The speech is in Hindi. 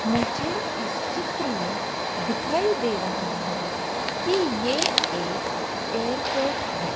मुझे इस चित्र में दिखाई दे रहा है कि यह एक एयरपोर्ट है।